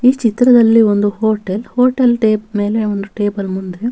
ಈ ಚಿತ್ರದ್ದಲ್ಲಿ ಒಂದು ಹೋಟೆಲ್ ಹೋಟೆಲ್ ಟೇಪ್ ಮೇಲೆ ಒಂದು ಟೇಬಲ್ ಮುಂದೆ--